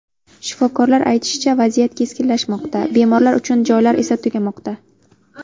Shifokorlar aytishicha, vaziyat keskinlashmoqda, bemorlar uchun joylar esa tugamoqda.